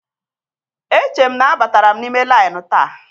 E che m ma a batara m n'ime lainụ taa.